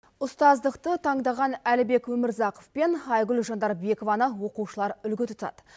ұстаздықты тандаған әлібек өмірзақов пен айгүл жандарбекованы оқушылар үлгі тұтады